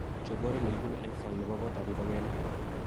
chob oret nekibune eng sang nebo kotab ngogenik